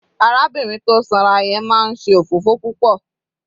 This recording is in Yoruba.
Arábìnrin tó sanra yẹn máa ń ṣe òfófó púpọ̀.